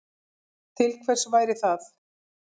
Til hvers væri það?